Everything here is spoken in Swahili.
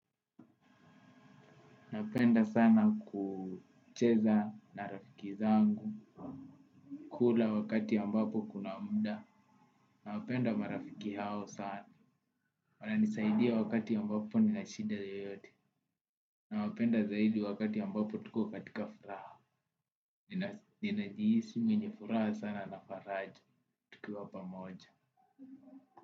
Napenda sana kucheza na rafiki zangu kila wakati ambapo kuna muda. Napenda marafiki hao sana, wananisaidia wakati ambapo nina shida yoyote. Nawapenda zaidi wakati ambapo tuko katika furaha. Ninajihisi mwenye furaha sana na faraja tukiwa pamoja.